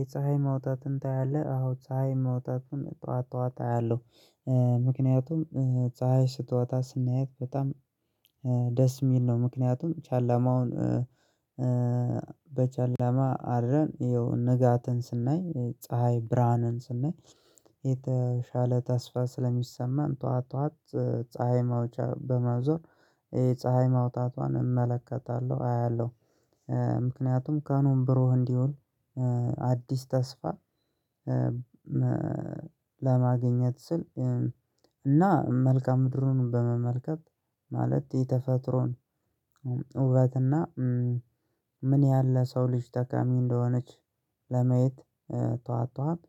የፀሀይ መውጣትን ታያለህ አዎ ፀሀይ መውጣትን ጠዋት ጠዋት አያለሁ። ምክንያቱም ፀሀይ ስትወጣ ስናያት በጣም ደስ የሚል ነው። ምክንያቱም ጨለማውን በጨለማ አለም ንጋትን ስናይ ፀሀይ ብርሃንን ስናይ የተሻለ ተስፋ ስለሚሰማን ጠዋት ጠዋት ፀሀይ መውጫ በመዞር የፀሀይ መውጣቷን እመለከታለሁ አያለሁ። ምክንያቱም ቀኑም ብሩህ እንዲሆን አዲስ ተስፋ ለማግኘት ስል እና መልከአ ምድሩን በመመልከት ማለት የተፈጥሮን ውበትና ምን ያህል ለሰው ልጅ ጠቃሚ እንደሆነች ለማየት ጠዋት ጠዋት